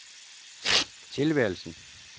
tilværelsen